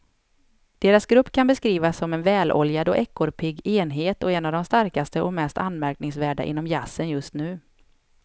Deras grupp kan beskrivas som en väloljad och ekorrpigg enhet och en av de starkaste och mest anmärkningsvärda inom jazzen just nu.